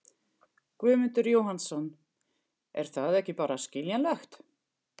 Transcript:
Guðmundur Jóhannsson: Er það ekki bara skiljanlegt?